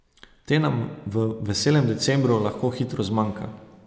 Te nam v veselem decembru lahko hitro zmanjka.